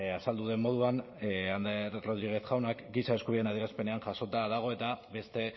azaldu duen moduan ander rodriguez jaunak giza eskubideen adierazpenean jasota dago eta beste